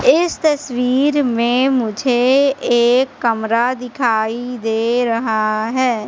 इस तस्वीर में मुझे एक कमरा दिखाई दे रहा है।